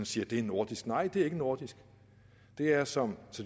siger det er nordisk nej det er ikke nordisk det er som